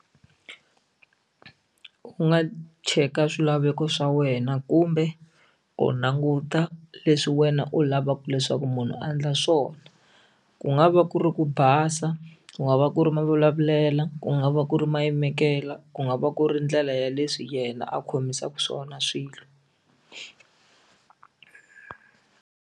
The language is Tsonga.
U nga cheka swilaveko swa wena kumbe u languta leswi wena u lavaka leswaku munhu a endla swona ku nga va ku ri u ku basa ku nga va ku ri mavulavulelo ku nga va ku ri mayimekelo ku nga va ku ri ndlela ya leswi yena a khomisaka swona swilo.